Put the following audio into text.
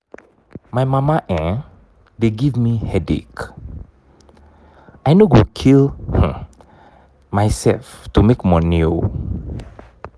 my mama um dey give me headache. i no go kill um myself to make money oo